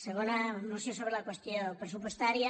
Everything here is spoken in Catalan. segona moció sobre la qüestió pressupostària